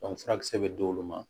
furakisɛ bɛ d'olu ma